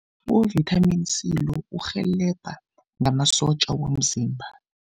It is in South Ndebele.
U-vitamin C lo, urhelebha ngamasotja womzimba.